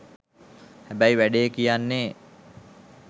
හැබැයි වැඩේ කියන්නෙ